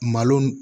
Malo